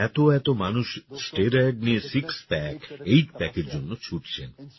আজকাল এত এত মানুষ স্টেরয়েড নিয়ে সিক্স প্যাক এইট প্যাকের জন্য ছুটছেন